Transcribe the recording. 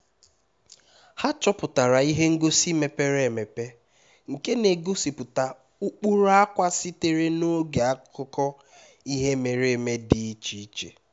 ha chọpụtara ihe ngosi mepere emepe nke na-egosipụta ụkpụrụ akwa sitere na oge akụkọ ihe mere eme dị iche iche